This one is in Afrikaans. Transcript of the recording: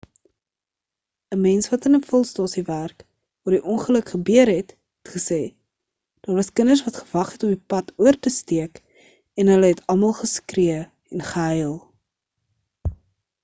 'n mens wat in 'n vulstasie werk waar die ongeluk gebeur het het gesê daar was kinders wat gewag het om die pad oor te steek en hulle het almal geskree en gehuil